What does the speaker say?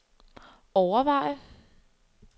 overveje